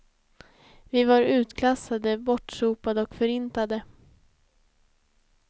Vi var utklassade, bortsopade och förintade.